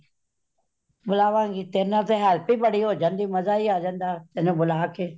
ਬੁਲਾਵਾਂਗੀ ,ਤੇਰੇ ਨਾਲ help ਹੀ ਬੜੀ ਹੋਜਾਂਦੀ ਮਜਾ ਹੀ ਆ ਜਾਂਦਾ ਤੈਨੂੰ ਬੁਲਾ ਕੇ